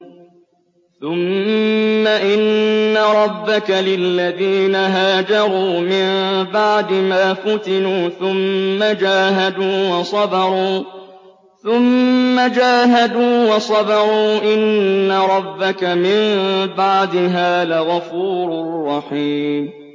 ثُمَّ إِنَّ رَبَّكَ لِلَّذِينَ هَاجَرُوا مِن بَعْدِ مَا فُتِنُوا ثُمَّ جَاهَدُوا وَصَبَرُوا إِنَّ رَبَّكَ مِن بَعْدِهَا لَغَفُورٌ رَّحِيمٌ